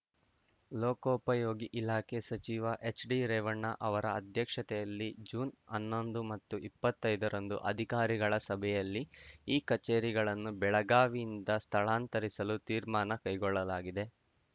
ಲೋಕೋಪಯೋಗಿ ಇಲಾಖೆ ಸಚಿವ ಎಚ್‌ಡಿರೇವಣ್ಣ ಅವರ ಅಧ್ಯಕ್ಷತೆಯಲ್ಲಿ ಜೂನ್‌ ಹನ್ನೊಂದು ಮತ್ತು ಇಪ್ಪತ್ತೈದ ರಂದು ಅಧಿಕಾರಿಗಳ ಸಭೆಯಲ್ಲಿ ಈ ಕಚೇರಿಗಳನ್ನು ಬೆಳಗಾವಿಯಿಂದ ಸ್ಥಳಾಂತರಿಸಲು ತೀರ್ಮಾನ ಕೈಗೊಳ್ಳಲಾಗಿದೆ